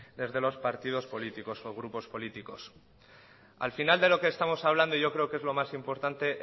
desde los partidos políticos o grupos políticos al final de lo que estamos hablando y yo creo que es lo más importante